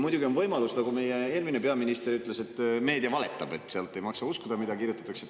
Muidugi on võimalus, nagu meie eelmine peaminister ütles, et meedia valetab ja ei maksa uskuda, mida seal kirjutatakse.